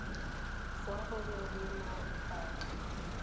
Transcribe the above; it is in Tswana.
fa go na le mabaka